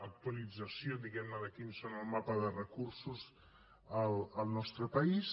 actualització diguem ne de quin és el mapa de recursos al nostre país